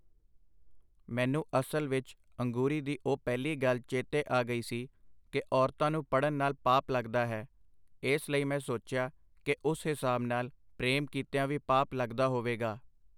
ਮੈਨੂੰ ਅਸਲ ਵਿਚ ਅੰਗੂਰੀ ਦੀ ਉਹ ਪਹਿਲੀ ਗੱਲ ਚੇਤੇ ਆ ਗਈ ਸੀ ਕਿ ਔਰਤਾਂ ਨੂੰ ਪੜ੍ਹਣ ਨਾਲ ਪਾਪ ਲਗਦਾ ਹੈ, ਇਸ ਲਈ ਮੈਂ ਸੋਚਿਆ ਕਿ ਉਸ ਹਿਸਾਬ ਨਾਲ ਪ੍ਰੇਮ ਕੀਤਿਆਂ ਵੀ ਪਾਪ ਲਗਦਾ ਹੋਵੇਗਾ.